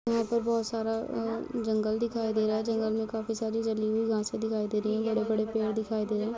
यहाँ पर बहुत सारा जंगल दिखाई दे रहा है। जंगल में काफी जाली घासे दिखाई दे रही है। बड़े बड़े पेड़ दिखाई दे रहे --